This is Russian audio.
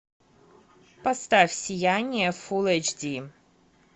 поставь сияние фул эйч ди